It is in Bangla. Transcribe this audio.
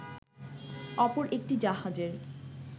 অপর একটি জাহাজের